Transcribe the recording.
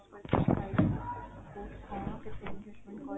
କଥା ହେଇଥିଲ, କୋଉଠି କଣ କତେବେଳେ କେମିତି ?